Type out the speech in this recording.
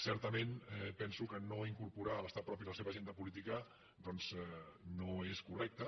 certament penso que no incorporar l’estat propi a la seva agenda política doncs no és correcte